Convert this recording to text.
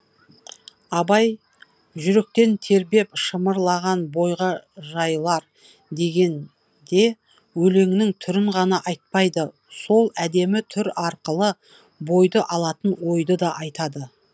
абай жүректен тербеп шымырлаған бойға жайылар деген де өлеңнің түрін ғана айтпайды сол әдемі түр арқылы бойды алатын ойды да айтады